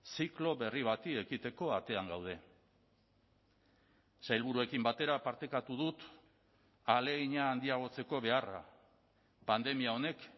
ziklo berri bati ekiteko atean gaude sailburuekin batera partekatu dut ahalegina handiagotzeko beharra pandemia honek